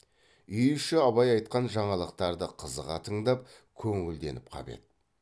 үй іші абай айтқан жаңалықтарды қызыға тыңдап көңілденіп қап еді